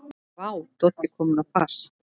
Vá, Doddi kominn á fast!